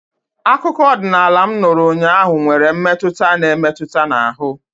Akụkọ ọdịnala m nụrụ ụnyaahụ nwere mmetụta na-emetụ n'ahụ